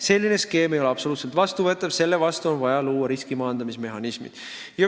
Selline skeem ei ole absoluutselt vastuvõetav, selle vastu on vaja luua riskimaandamise mehhanismid.